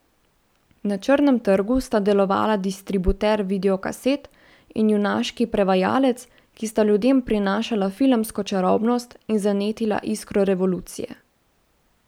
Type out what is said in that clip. Na črnem trgu sta delovala distributer videokaset in junaški prevajalec, ki sta ljudem prinašala filmsko čarobnost in zanetila iskro revolucije.